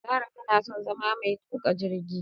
Zara tanason zama metuka jirgi